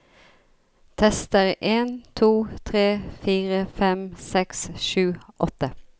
Tester en to tre fire fem seks sju åtte